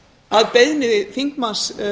að beiðni þingmanns